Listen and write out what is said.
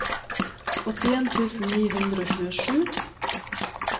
åttien tusen ni hundre og tjuesju